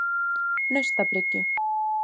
Naustabryggju